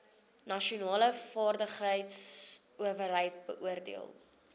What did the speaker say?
nasionale vaardigheidsowerheid beoordeel